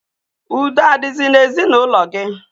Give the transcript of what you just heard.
Udo adizi na ezi na ulo gi?